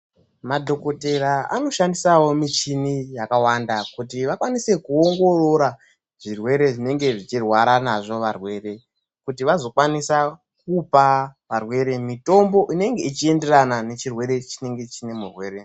Madhokotera anoshandisawo michini yakawanda kuti vakwanise kuongorora zvirwere zvinenge zvichirwara nazvo varwere. Kuti vazokwanisa kupa varwere mitombo inenge ichienderana nechirwere chinenge chiine murwere.